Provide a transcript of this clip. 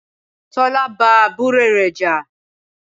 Tọ́lá bá àbúrò rẹ jà.